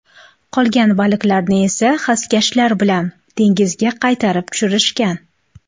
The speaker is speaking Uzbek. Qolgan baliqlarni esa xaskashlar bilan dengizga qaytarib tushirishgan.